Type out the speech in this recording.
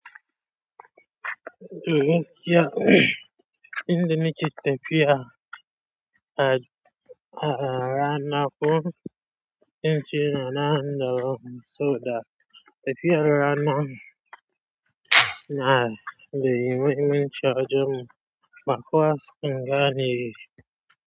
Yau gaskiya? Inda ni ke tafiya a, a rana ko in ce ina nan saboda. Tafiya rana na da mahimmaman ci a wajen mu bakowa a sukanga ne.